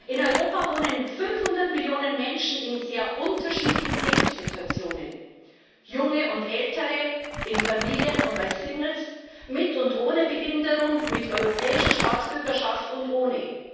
In Europa wohnen 500 Millionen Menschen in sehr unterschiedlichen Lebenssituationen Junge und Ältere in Familien und als Singles, mit und ohne Behinderung, mit europäischer Staatsbürgerschaft und ohne.